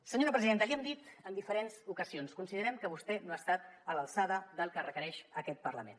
senyora presidenta l’hi hem dit en diferents ocasions considerem que vostè no ha estat a l’alçada del que requereix aquest parlament